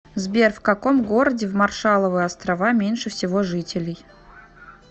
сбер в каком городе в маршалловы острова меньше всего жителей